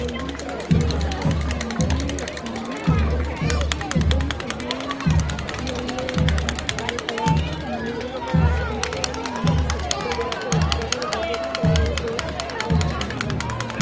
golden colour की है ये एक मंदिर में रखी हुई है मंदिर का कलर पिंक ब्लू येलो ऐसे सारे कलर्स के बना हुआ है उसके अलावा हमें यहाँ पे पेड़ प पौधे दिखाई दे रहा है बड़े-बड़े पेड़ और पीछे हमें आसमान--